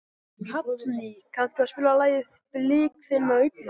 Hallný, kanntu að spila lagið „Blik þinna augna“?